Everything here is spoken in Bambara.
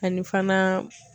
Ani fana.